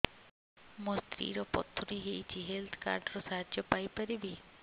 ମୋ ସ୍ତ୍ରୀ ର ପଥୁରୀ ହେଇଚି ହେଲ୍ଥ କାର୍ଡ ର ସାହାଯ୍ୟ ପାଇପାରିବି